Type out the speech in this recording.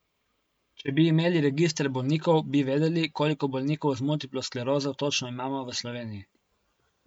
Če bi imeli register bolnikov, bi vedeli, koliko bolnikov z multiplo sklerozo točno imamo v Sloveniji.